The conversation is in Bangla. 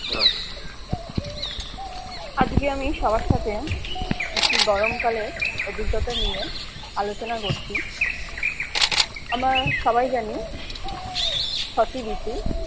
আজকে আমি সবার সাথে একটি গরম কালের অভিজ্ঞতা নিয়ে আলোচনা করছি আমরা সবাই জানি ছটি ঋতু